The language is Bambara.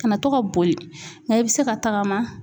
Ka na to ka boli nka i be se ka tagama.